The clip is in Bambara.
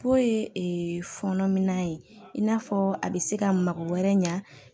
Po ye fɔnɔ minan ye in n'a fɔ a bɛ se ka mago wɛrɛ ɲa